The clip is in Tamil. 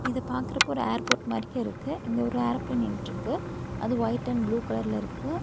இத பாக்குறப்போ ஒரு ஏர்போர்ட் மாரிக்கு இருக்கு இங்க ஒரு ஏரோப்ளேன் நின்ட்டிருக்கு அது ஒயிட் அண்ட் ப்ளூ கலர்ல இருக்கு.